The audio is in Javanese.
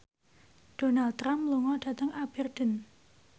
Donald Trump lunga dhateng Aberdeen